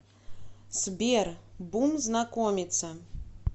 сбер бум знакомиться